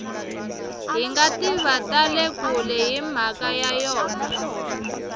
hingativa tale kule himhaka ya yona